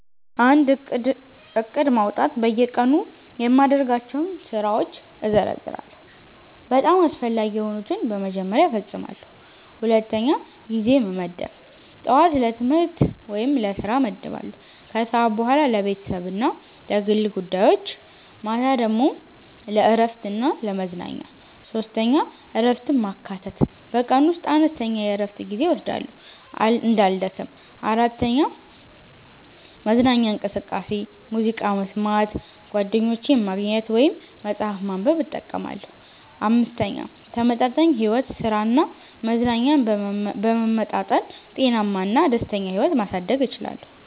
1. ዕቅድ ማውጣት በየቀኑ የማደርጋቸውን ስራዎች እዘርዝራለሁ፤ በጣም አስፈላጊ የሆኑትን በመጀመሪያ እፈጽማለሁ። 2. ጊዜ መመደብ ጠዋት ለትምህርት/ስራ እመድባለሁ ከሰዓት በኋላ ለቤተሰብ እና ለግል ጉዳዮች ማታ ለእረፍት እና ለመዝናኛ 3. እረፍትን ማካተት በቀን ውስጥ አነስተኛ የእረፍት ጊዜ እወስዳለሁ እንዳልደክም። 4. መዝናኛ እንቅስቃሴ ሙዚቃ መስማት፣ ጓደኞችን ማግኘት ወይም መጽሐፍ ማንበብ እጠቀማለሁ። 5. ተመጣጣኝ ሕይወት ሥራ እና መዝናኛን በመመጣጠን ጤናማ እና ደስተኛ ሕይወት ማሳደግ እችላለሁ።